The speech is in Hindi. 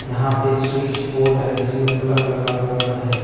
यहां पे स्विच बोर्ड है जिसमें प्लग लगा हुआ है।